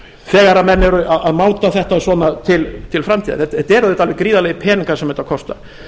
þegar menn eru að máta þetta svona til framtíðar þetta eru auðvitað alveg gríðarlegir peningar sem þetta kostar